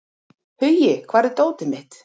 Hugi, hvar er dótið mitt?